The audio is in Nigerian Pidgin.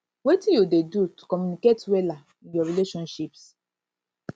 wetin you dey do to communicate wella in your relationships